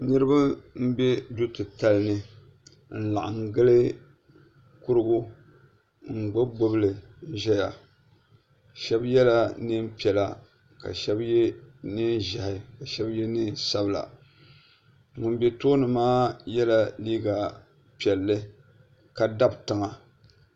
Niriba m be du'titali ni n laɣim gili kurugu n gbibi gbibi li n ʒɛya shebi yela neenpiɛla ka shebi ye neenʒehi ka shebi neensabla ŋunbe tooni maa yela liiga piɛlli ka dabtiŋa.